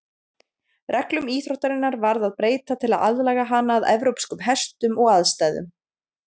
Reglum íþróttarinnar varð að breyta til að aðlaga hana að evrópskum hestum og aðstæðum.